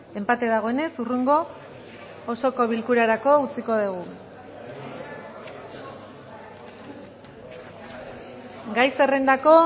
enpate dagoenez hurrengo osoko bilkurarako utziko dugu gai zerrendako